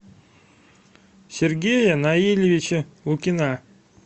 сергея наилевича лукина